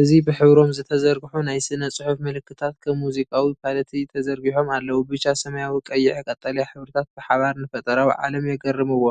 እዚ ብሕብሮም ዝተዘርግሑ ናይ ስነ-ጽሑፍ ምልክታት ከም ሙዚቃዊ ፓለቲ ተዘርጊሖም ኣለዉ። ብጫ፡ ሰማያዊ፡ ቀይሕ፡ ቀጠልያ ሕብርታት ብሓባር ንፈጠራዊ ዓለም የገርምዎ።